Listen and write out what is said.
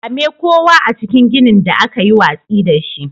Kame kowa a cikin ginin da aka yi watsi da shi.